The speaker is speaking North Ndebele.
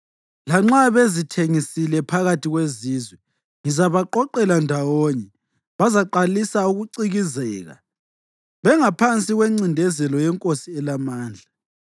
Lanxa bezithengisile phakathi kwezizwe, ngizabaqoqela ndawonye. Bazaqalisa ukucikizeka bengaphansi kwencindezelo yenkosi elamandla.